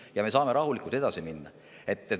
Ja me saame rahulikult edasi minna.